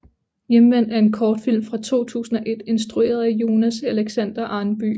Hjemvendt er en kortfilm fra 2001 instrueret af Jonas Alexander Arnby